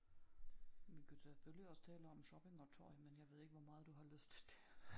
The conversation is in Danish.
Vi kunne selvfølgelig også tale om shopping og tøj men jeg ved ikke hvor meget du har lyst til det